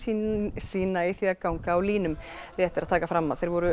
sína í því að ganga á línum rétt er að taka fram að þeir voru